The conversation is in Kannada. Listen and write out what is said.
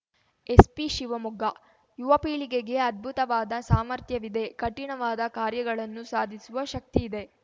ಎಸ್ಪಿ ಶಿವಮೊಗ್ಗ ಯುವಪೀಳಿಗೆಗೆ ಅದ್ಭುತವಾದ ಸಾಮರ್ಥ್ಯವಿದೆ ಕಠಿಣವಾದ ಕಾರ್ಯಗಳನ್ನು ಸಾಧಿಸುವ ಶಕ್ತಿಯಿದೆ